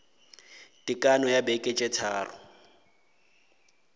tekano ya beke tše tharo